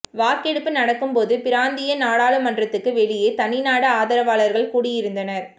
வாக்கெடுப்பு நடக்கும்போது பிராந்திய நாடாளுமன்றத்துக்கு வெளியே தனி நாடு ஆதரவாளர்கள் கூடியிருந்தனர்